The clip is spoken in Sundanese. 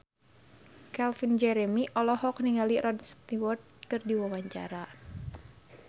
Calvin Jeremy olohok ningali Rod Stewart keur diwawancara